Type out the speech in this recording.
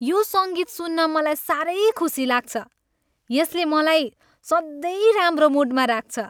यो सङ्गीत सुन्न मलाई साह्रै खुसी लाग्छ। यसले मलाई सधैँ राम्रो मुडमा राख्छ।